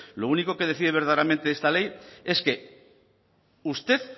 lo único que decide verdaderamente esta ley es que usted